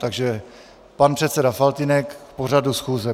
Takže pan předseda Faltýnek k pořadu schůze.